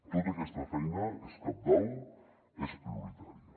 tota aquesta feina és cabdal és prioritària